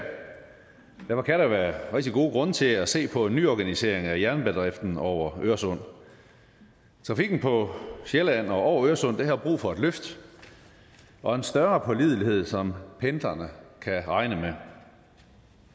derfor kan der være rigtig gode grunde til at se på en nyorganisering af jernbanedriften over øresund trafikken på sjælland og over øresund har brug for et løft og en større pålidelighed som pendlerne kan regne med